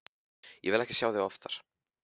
Ég vil ekki sjá þig oftar.